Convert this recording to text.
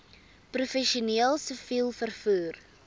professioneel siviel vervoer